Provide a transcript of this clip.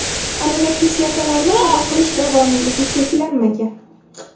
Aminokislotalarni qabul qilish davomiyligi cheklanmagan.